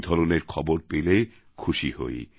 এই ধরনের খবর পেলে খুশি হই